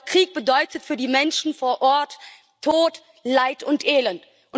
Doch Krieg bedeutet für die Menschen vor Ort Tod, Leid und Elend.